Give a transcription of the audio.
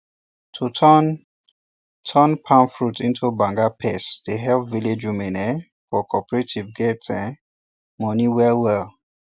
to turn turn palm fruits into banga paste dey help village women um for cooperatives get um money well um well